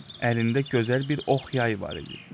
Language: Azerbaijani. Əlində gözəl bir ox yay var idi.